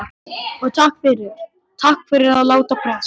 Og takk fyrir. takk fyrir að láta prest.